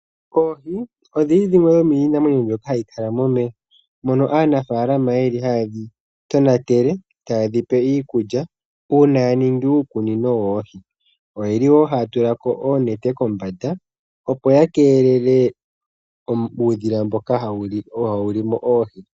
Oohi odhili dhimwe dho miinamwenyo mbyoka hayi kala momeya mono aanafaalama yeli hayedhi tonatele tayedhi pe iikulya uuna ya ningi uukunino woohi. Oyeli nee haya tulako oonete kombanda opo ya keelele uudhila mboka hawu limo oohi.